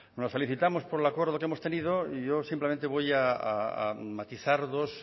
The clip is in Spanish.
nos felicitamos por el acuerdo que hemos tenido y yo simplemente voy a matizar dos